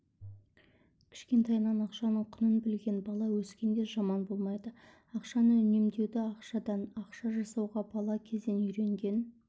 кішкентайынан ақшаның құнын білген бала өскенде жаман болмайды ақшаны үнемдеуді ақшадан ақша жасауды бала кезден үйренген